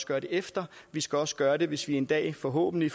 gøre det efter vi skal også gøre det hvis der en dag forhåbentlig